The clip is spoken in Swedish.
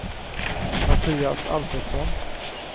Mattias Alfredsson